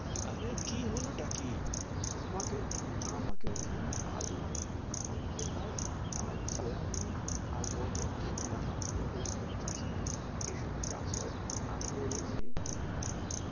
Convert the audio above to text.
অরে কি হলো তা কি? আমাকে আমাকে ওইখানে আলুর, আর পেঁয়াজ আর সোয়াবিন, আর বরবটির দানা দিয়ে বলছে জা চাষ কর, এসব কি চাষ হয়? আমি বলেছি কি,